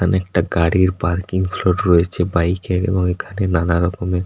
এখানে একটা গাড়ির পার্কিং স্লট রয়েছে বাইক -এর এবং এখানে নানা রকমের--